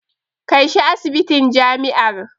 Kai shi asibitin jami'ar.